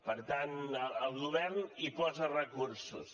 per tant el govern hi posa recursos